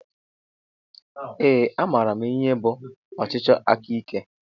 Ee a maara m ihe bụ ọchịchị aka ike.